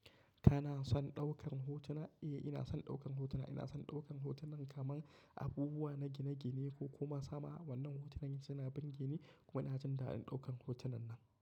Kana son ɗaukar hotuna? Eh, ina son ɗaukan hotuna. Ina son ɗaukan hotunan kaman abubuwa gine-gine ko kuma sama. Wannan hotunan suna bir geni kuma ina jin daɗin ɗaukan hotunan nan.